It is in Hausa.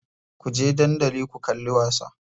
Kuje dandali ku kalli wasa.